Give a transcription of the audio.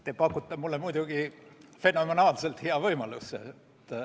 Te pakute mulle muidugi fenomenaalselt hea võimaluse.